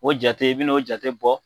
O jate i bi n'o jate bɔ